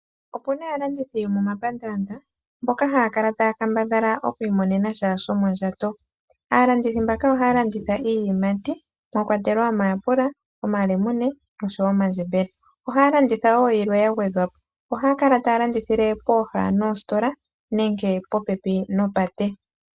Opu na aalandithi yo momapandaanda mboka haya kala taya kambadhala okwiimonena sha shomondjato. Aalandithi mbaka ohaya landitha iiyimati mwakwatelwa omayapula, omalemune osho wo omandjembele. Ohaya landitha wo yilwe ya gwedhwa po. Ohaya kala taya landithile pooha dhositola nenge popepi nopate.